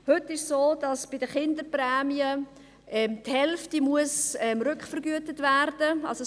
Heute ist es so, dass bei den Kinderprämien die Hälfte rückvergütet werden muss.